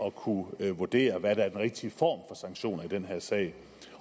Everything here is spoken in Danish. at kunne vurdere hvad der er den rigtige form for sanktion i den her sag